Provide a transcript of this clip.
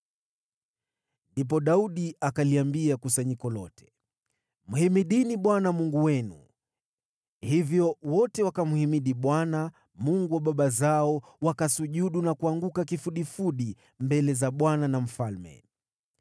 Ndipo Daudi akaliambia kusanyiko lote, “Mhimidini Bwana Mungu wenu.” Hivyo wote wakamhimidi Bwana , Mungu wa baba zao. Wakasujudu na kuanguka kifudifudi mbele za Bwana na mfalme.